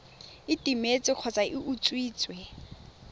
e timetse kgotsa e utswitswe